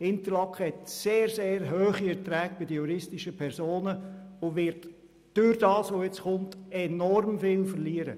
Interlaken hat sehr, sehr hohe Erträge bei den juristischen Personen und wird durch dieses Gesetz enorm viel verlieren.